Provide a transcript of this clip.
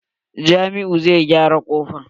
Jamiu zai gyara kofar.